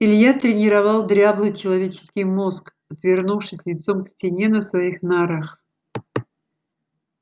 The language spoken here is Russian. илья тренировал дряблый человеческий мозг отвернувшись лицом к стене на своих нарах